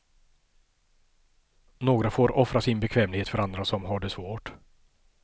Några får offra sin bekvämlighet för andra som har det svårt.